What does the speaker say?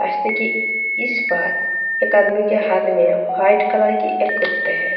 रास्ते के इस पार एक आदमी के हाथ में वाइट कलर के एक कुते हैं।